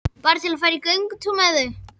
Bara til að fara í göngutúr með þau.